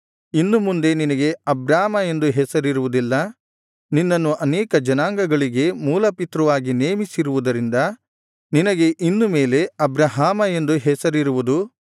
ಇನ್ನು ಮುಂದೆ ನಿನಗೆ ಅಬ್ರಾಮ ಎಂದು ಹೆಸರಿರುವುದಿಲ್ಲ ನಿನ್ನನ್ನು ಅನೇಕ ಜನಾಂಗಗಳಿಗೆ ಮೂಲಪಿತೃವಾಗಿ ನೇಮಿಸಿರುವುದರಿಂದ ನಿನಗೆ ಇನ್ನು ಮೇಲೆ ಅಬ್ರಹಾಮ ಎಂದು ಹೆಸರಿರುವುದು